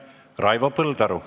Raivo Põldaru.